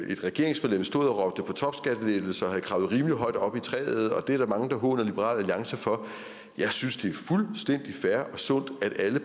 et regeringsmedlem stod og råbte på topskattelettelser og var kravlet rimelig højt op i træet og det er der mange der håner liberal alliance for jeg synes det er fuldstændig fair og sundt at alle